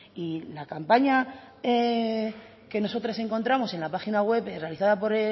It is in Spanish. y la campaña que nosotras encontramos en la página web realizada por